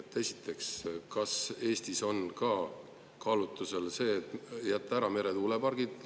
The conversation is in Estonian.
Esiteks, kas Eestis on ka kaalumisel jätta ära meretuulepargid?